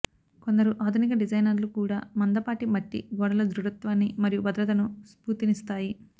కొందరు ఆధునిక డిజైనర్లు కూడా మందపాటి మట్టి గోడలు దృఢత్వాన్ని మరియు భద్రతను స్ఫూర్తినిస్తాయి